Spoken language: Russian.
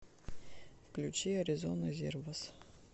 включи аризона зервас